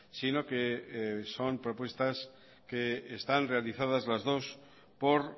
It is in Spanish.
sino que son propuestas que están realizadas las dos por